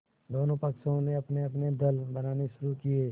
दोनों पक्षों ने अपनेअपने दल बनाने शुरू किये